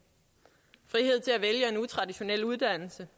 frihed til at vælge en utraditionel uddannelse